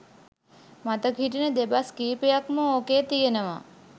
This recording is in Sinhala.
මතක හිටින දෙබස් කීපයක් ම ඕකේ තියනවා.